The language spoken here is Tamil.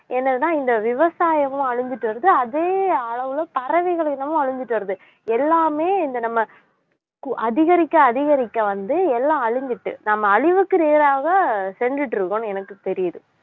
என்னதுன்னா இந்த விவசாயமும் அழிஞ்சுட்டு வருது அதே அளவுல பறவைகள் இனமும் அழிஞ்சுட்டு வருது எல்லாமே இந்த நம்ம கு~ அதிகரிக்க அதிகரிக்க வந்து எல்லாம் அழிஞ்சிட்டு நம்ம அழிவுக்கு நேராக சென்றிட்டு இருக்கோம்னு எனக்கு தெரியுது